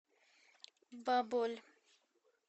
баболь